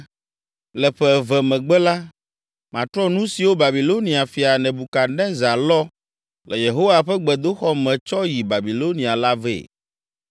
Le ƒe eve megbe la, matrɔ nu siwo Babilonia fia, Nebukadnezar lɔ le Yehowa ƒe gbedoxɔ me tsɔ yi Babilonia la vɛ.